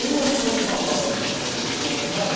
Uma foi que o papai ficou entusiasmado,